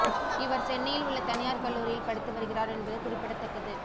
இவர் சென்னையில் உள்ள தனியார் கல்லூரியில் படித்து வருகிறார் என்பது குறிப்பிடத்தக்கது